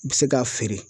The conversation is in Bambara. I bɛ se k'a feere